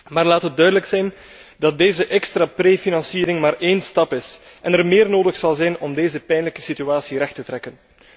Maar laat het duidelijk zijn dat deze extra voorfinanciering maar één stap is, en er meer nodig zal zijn om deze pijnlijke situatie recht te trekken.